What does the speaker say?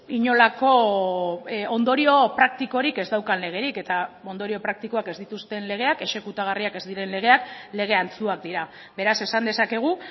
inolako ondorio praktikorik ez daukan legerik eta ondorio praktikoak ez dituzten legeak exekutagarriak ez diren legeak lege antzuak dira beraz esan dezakegu